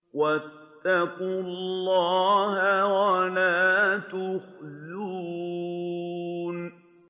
وَاتَّقُوا اللَّهَ وَلَا تُخْزُونِ